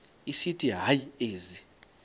esithi hayi ezi